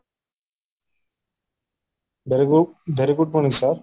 very good very good morning sir